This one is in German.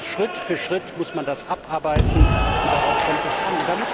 Schritt für Schritt muss man das abarbeiten, und darauf kommt es an.